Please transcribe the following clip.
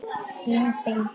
Þín Bylgja.